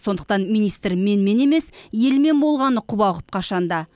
сондықтан министр менімен емес елмен болғаны құба құп қашан да